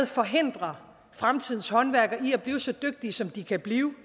forhindrer fremtidens håndværkere i at blive så dygtige som de kan blive